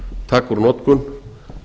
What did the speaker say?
taka úr notkun